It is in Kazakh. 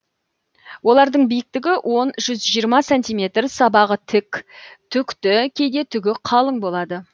олардың биіктігі он жүз жиырма сантиметр сабағы тік түкті кейде түгі қалың болады